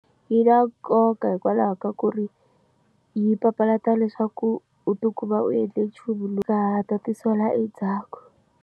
Yi na nkoka hikwalaho ka ku ri yi papalata leswaku u ti kuma u endle nchumu lowu ka ha ta u ti sola endzhaku.